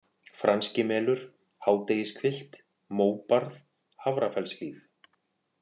Franskimelur, Hádegishvilft, Móbarð, Hafrafellshlíð